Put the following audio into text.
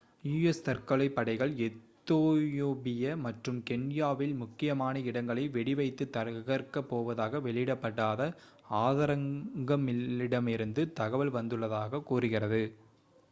"u.s. தற்கொலைப் படைகள் எத்தியோபியா மற்றும் கென்யாவில் "முக்கியமான இடங்களை" வெடி வைத்து தகர்க்கப் போவதாக வெளியிடப்படாத ஆதாரங்களிடமிருந்து தகவல் வந்துள்ளதாக கூறுகிறது.